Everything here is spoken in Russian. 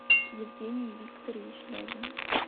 евгений викторович лягин